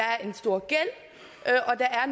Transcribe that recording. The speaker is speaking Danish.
er